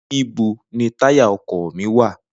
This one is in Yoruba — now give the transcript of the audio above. nibo ni taya ọkọ mi wa?